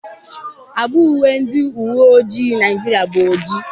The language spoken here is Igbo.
agba uwe ndị uwe ojii Naịjirịa bụ oji